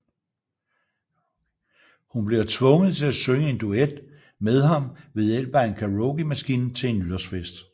Hun bliver tvunget til at synge en duet med ham ved hjælp af en karaokemaskine til en nytårsfest